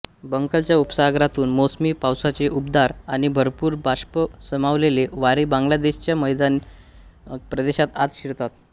बंगालच्या उपसागरातून मोसमी पावसाचे उबदार आणि भरपूर बाष्प सामावलेले वारे बांगलादेशच्या मैदानी प्रदेशात आत शिरतात